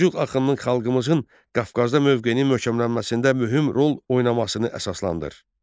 Səlcuq axınımın xalqımızın Qafqazda mövqeyini möhkəmlənməsində mühüm rol oynamasını əsaslandır.